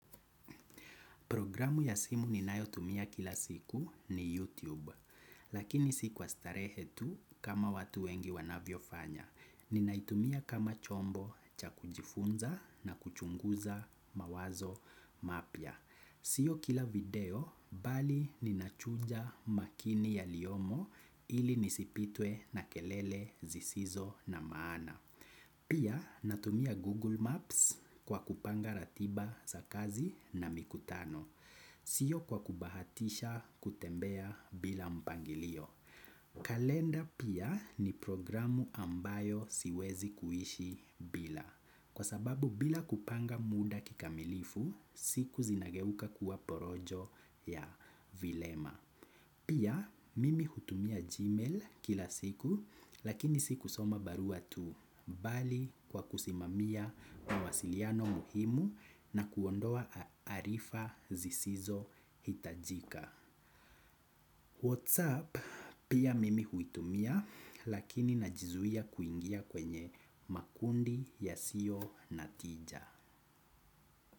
Programu ya simu ninayotumia kila siku ni YouTube. Lakini si kwa starehetu kama watu wengi wanavyo fanya. Ninaitumia kama chombo cha kujifunza na kuchunguza mawazo mapia. Sio kila video, bali ninachuja makini yaliyomo ili nisipitwe na kelele zisizo na maana. Pia natumia Google Maps kwa kupanga ratiba za kazi na mikutano. Siyo kwa kubahatisha kutembea bila mpangilio. Kalenda pia ni programu ambayo siwezi kuishi bila. Kwa sababu bila kupanga muda kikamilifu, siku zinageuka kuwa porojo ya vilema. Pia mimi hutumia gmail kila siku lakini si kusoma barua tu bali kwa kusimamia mwasiliano muhimu na kuondoa arifa zisizo hitajika. What's up? Pia mimi hutumia lakini najizuia kuingia kwenye makundi ya siyo natija.